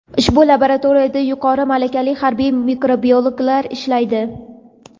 Ushbu laboratoriyalarda yuqori malakali harbiy mikrobiologlar ishlaydi.